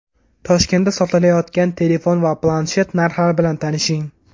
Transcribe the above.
Toshkentda sotilayotgan telefon va planshet narxlari bilan tanishing.